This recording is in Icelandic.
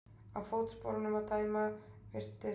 Af fótsporunum að dæma virtist